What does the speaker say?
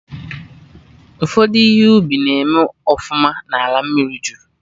Ụfọdụ ihe ubi na-eme ọfụma na ala mmiri jụrụ